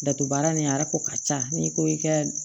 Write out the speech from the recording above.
Dato baara nin a yɛrɛ ko ka ca n'i ko i ka